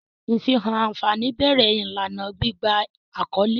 Ifihan anfani bẹrẹ ilana gbigba akọle.